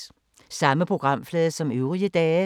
Samme programflade som øvrige dage